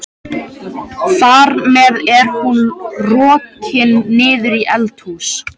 Þar með er hún rokin niður í eldhús.